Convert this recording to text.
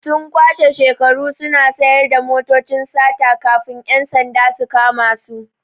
Sun kwashe shekaru suna sayar da motocin sata kafin 'yan sanda su kama su.